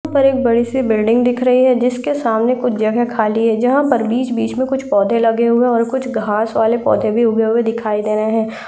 यहाँ पर एक बड़ी सी बिल्डिंग दिख रही है जिसके सामने कुछ जगह खाली है। जहां पर बिच - बिच में कुछ पोधे लगे हुए हैं और कुछ घांस वाले पोधे भी उगे हुए दिखयी दे रहे हैं।